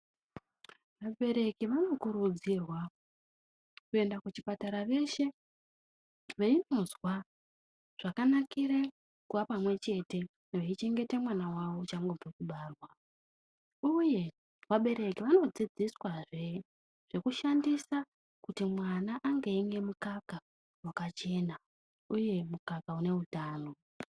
Vabereki vanokurudzirwa kuenda kuchipatara veshe veindozwa zvakanakire kuwapamwechete eichengeta mwana wawo uchangobve kubarwa uye vabereki vandodzidziswazve zvekushandisa kuti mwana ange rimwe mukaka wakachena uye mukaka une utano.